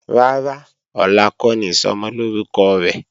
Rárá, ọ̀la kọ́ ni Ìsọmọlórúkọ rẹ̀.